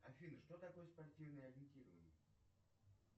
афина что такое спортивное ориентирование